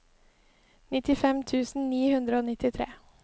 nittifem tusen ni hundre og nittitre